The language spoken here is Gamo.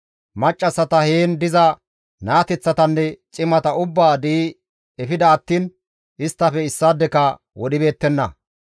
Maccassata, heen diza naateththatanne cimata ubbaa di7i efida attiin isttafe issaadeka wodhibeettenna.